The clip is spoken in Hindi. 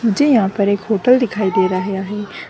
मुझे यहां पर एक होटल दिखाई दे रहा है।